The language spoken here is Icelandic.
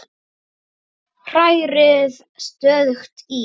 Hrærið stöðugt í.